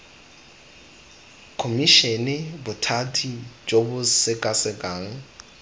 khomišene bothati jo bo sekasekang